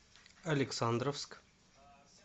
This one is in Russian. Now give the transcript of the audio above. александровск